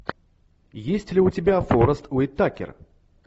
есть ли у тебя форест уитакер